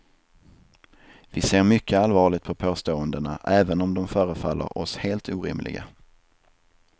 Vi ser mycket allvarligt på påståendena även om de förefaller oss helt orimliga.